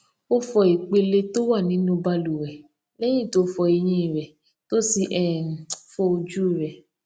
ó fọ ìpele tó wà nínú balùwẹ léyìn tó fọ eyín rè tó sì um fọ ojú rè